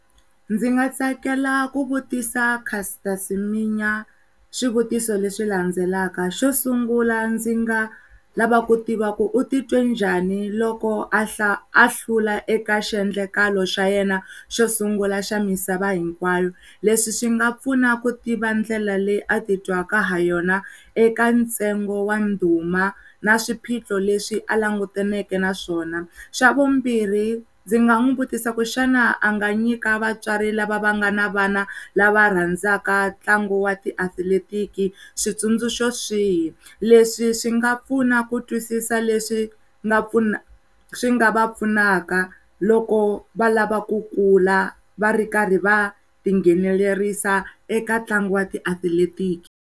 Ndzi nga tsakela ku vutisa Caster Siminya swivutiso leswi landzelaka xo sungula ndzi nga lava ku tiva ku u titwe njhani loko a hlula eka xiendlakala xa yena xosungla xa misava hinkwayo leswi swi nga pfuna ku tiva ndlela leyi atitwaka ha yona eka ntsengo wana duma na swiphiqo leswi a langutaneke na swona xa vumbirhi ndzi nga n'wi vutisa ku xana a nga nyika vatswari lava va nga na vana lava rhandzaka ntlangu wa ti atlilatiki switsundzuko swihi, leswi swi nga pfuna ku twisisa leswi nga pfuna swi nga va pfunaka loko valava ku kula va ri karhi va ta ngheneleriwa eka tlangu wa ti atlilatiki.